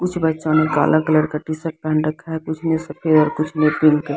कुछ बच्चों ने काला कलर का टी शर्ट पेहन रखा है कुछ ने सफेद कुछ ने पिंक --